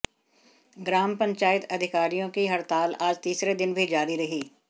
ग्राम पंचायत अधिकारियों की हड़ताल आज तीसरे दिन भी जारी रही